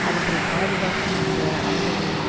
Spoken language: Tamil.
அவற்றை பாதுகாக்கும் என்ற அவருடைய